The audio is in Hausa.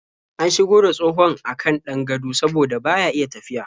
An shigo da tsohon a kan ɗan gado saboda baya iya tafiya.